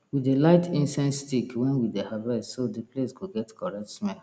we dey light incense stick when we dey harvest so the place go get correct smell